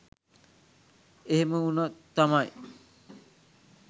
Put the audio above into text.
එහෙම උනොත් තමයි